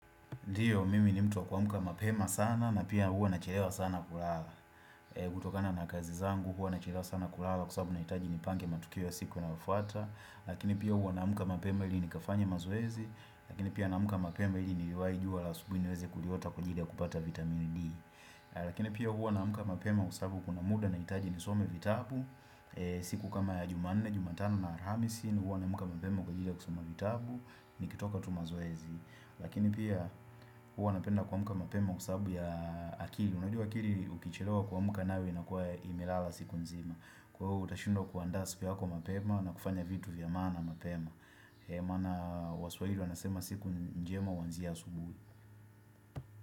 nDio, mimi ni mtu wa kuamka mapema sana na pia huwa nachelewa sana kulala kutokana na kazi zangu huwa nachelewa sana kulala kwa sababu nahitaji nipange matukio ya siku inayofuata Lakini pia huwa naamka mapema ili nikafanye mazoezi Lakini pia naamka mapema ili niliwahi jua la asubuhi niweze kuliota kwa ajili ya kupata vitamini D Lakini pia huwa naamka mapema kwa sababu kuna muda nahitaji nisome vitabu siku kama ya jumanne, jumatano na alhamisi huwa naamka mapema kwa ajili ya kusoma vitabu Nikitoka tu mazoezi Lakini pia hua napenda kuamka mapema kwa sababu ya akili Unajua akili ukichelewa kuamka nayo inakuwa imelala siku nzima Kwa huo utashindwa kuandaa siku yako mapema na kufanya vitu vya maana mapema Emana waswahili wanasema siku njema huanzia asubuhi.